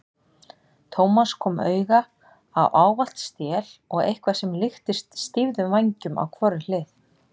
Thomas kom auga á ávalt stél og eitthvað sem líktist stýfðum vængjum á hvorri hlið.